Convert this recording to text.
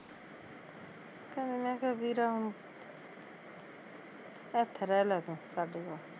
ਫੇਰ ਮੈਂ ਕਿਹਾਂ ਵੀਰ ਹੁਣ ਏਥੇ ਰਹਿਲਾ ਤੂੰ ਸਾਡੇ ਕੋਲ